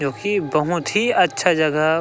क्योकि बहुत ही अच्छा जगह--